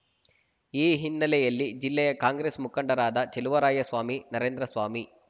ಈ ಹಿನ್ನೆಲೆಯಲ್ಲಿ ಜಿಲ್ಲೆಯ ಕಾಂಗ್ರೆಸ್ ಮುಖಂಡರಾದ ಚೆಲುವರಾಯಸ್ವಾಮಿ ನರೇಂದ್ರಸ್ವಾಮಿ